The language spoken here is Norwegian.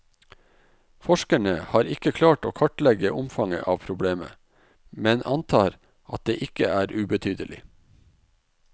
Forskerne har ikke klart å kartlegge omfanget av problemet, men antar det ikke er ubetydelig.